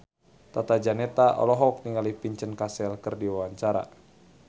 Tata Janeta olohok ningali Vincent Cassel keur diwawancara